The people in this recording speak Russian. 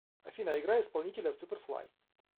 афина играй исполнителя суперфлай